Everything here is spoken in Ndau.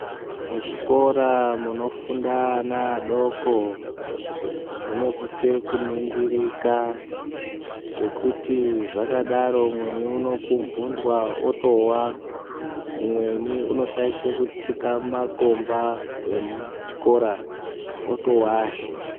Muzvikora munofunda ana adoko munosise kuningirika ngekuti zvakadaro umweni uno phumbunwa otowa umweni unoshaisha kutsika mumakomba emuchikora otowahe.